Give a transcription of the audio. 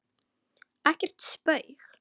Ekkert spaug